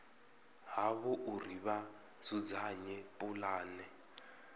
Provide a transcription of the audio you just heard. havho uri vha dzudzanye pulane